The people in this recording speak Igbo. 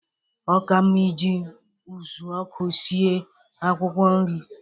Óka mma iji ụzụọkụ sie akwụkwọ nri